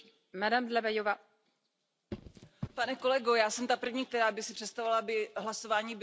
Já jsem ta první, která by si představovala, aby hlasování bylo jednoduché a pro nás všechny naprosto jasné.